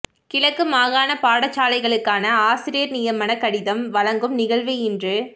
கிழக்கு மாகாண பாடசாலைகளுக்கான ஆசிரியர் நியமனக் கடிதம் வழங்கும் நிகழ்வு இன்று